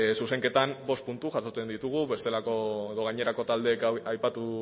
zuzenketan bost puntu jasotzen ditugu bestelako edo gainerako taldeek aipatu